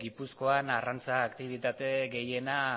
gipuzkoan arrantza aktibitate gehiena